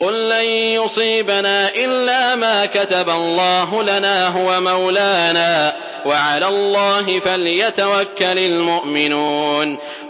قُل لَّن يُصِيبَنَا إِلَّا مَا كَتَبَ اللَّهُ لَنَا هُوَ مَوْلَانَا ۚ وَعَلَى اللَّهِ فَلْيَتَوَكَّلِ الْمُؤْمِنُونَ